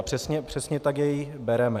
A přesně tak jej bereme.